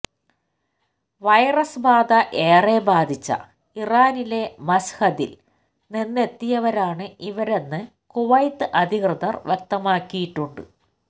virus ബാധ ഏറെ ബാധിച്ച ഇറാനിലെ മശ്ഹദിൽ നിന്നെത്തിയവരാണ് ഇവരെന്ന് കുവൈത്ത് അധികൃതർ വ്യക്തമാക്കിയിട്ടുണ്ട്